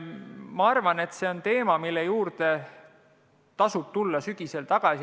Ma arvan, et see on teema, mille juurde tasub tulla sügisel tagasi.